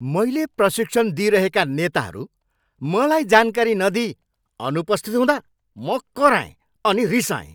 मैले प्रशिक्षण दिइरहेका नेताहरू मलाई जानकारी नदिई अनुपस्थित हुँदा मैले कराएँ अनि रिसाएँ।